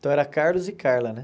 Então, era Carlos e Carla, né?